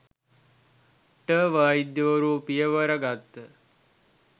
ට වෛද්‍යවරු පියවර ගත්හ.